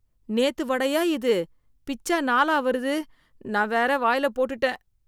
நேத்து வடையா இது, பிச்சா நாலா வருது, நான் வேற வாயில போட்டுட்டேன்.